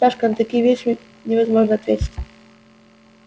сашка на такие вещи невозможно ответить